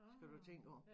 Skal du tænke over